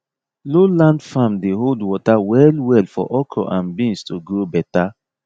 low land farm dey hold water well well for okra and beans to grow better